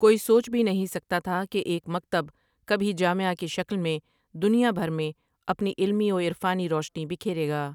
کوئی سوچ بھی نہیں سکتا تھا کہ ایک مکتب کبھی جامعہ کی شکل میں دنیا بھر میں اپنی علمی وعرفانی روشنی بکھیرے گا ۔